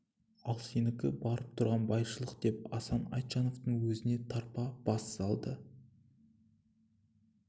ал сенікі барып тұрған байшылдық деп асан айтжановтың өзіне тарпа бас салды